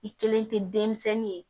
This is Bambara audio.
I kelen tɛ denmisɛnnin ye